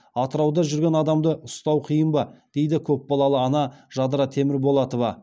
атырауда жүрген адамды ұстау қиын ба дейді көпбалалы ана жадыра темірболатова